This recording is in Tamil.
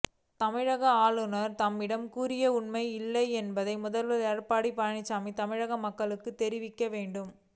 தமிழக ஆளுநர் தம்மிடம் கூறியது உண்மையா இல்லையா என்பதை முதல்வர் எடப்பாடி பழனிச்சாமி தமிழக மக்களுக்குத் தெரிவிக்க வேண்டும்